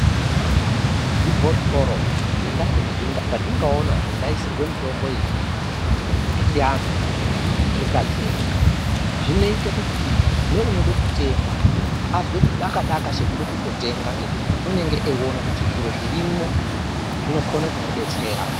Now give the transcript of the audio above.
Zvibhotoro zvetingaona zvingaiswe mitombo iyi yechiantu, zvikajeka zvinoite kuti neunode kutenga azwe chidaka-daka chekude kutotenga ngekuti unenge eiona kuti zviro zvirimo zvinokone kumudetsera.